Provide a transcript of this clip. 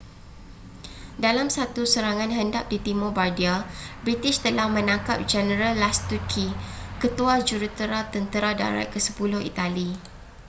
dalam satu serangan hendap di timur bardia british telah menangkap jeneral lastucci ketua jurutera tentera darat ke-sepuluh itali